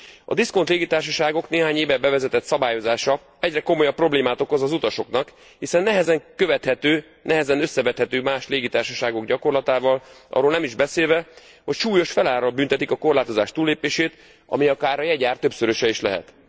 A diszkont légitársaságok néhány éve bevezetett szabályozása egyre komolyabb problémát okoz az utasoknak, hiszen nehezen követhető, nehezen összevethető más légitársaságok gyakorlatával, arról nem is beszélve, hogy súlyos felárral büntetik a korlátozás túllépését, ami akár a jegyár többszöröse is lehet.